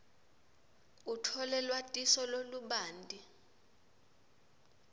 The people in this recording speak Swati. utfole lwatiso lolubanti